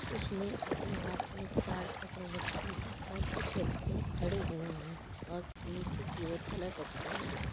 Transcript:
कुछ ने अपने हाथ में चार्ट पकड़ रखी है और कुछ बच्चे खड़े हुए हैं और नीचे की ओर कलर रखे हुए हैं।